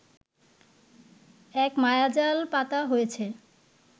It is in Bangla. এক মায়াজাল পাতা হয়েছে